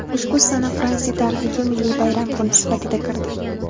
Ushbu sana Fransiya tarixiga milliy bayram kuni sifatida kirdi.